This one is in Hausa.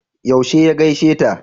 Yaushe ya gaishe ta?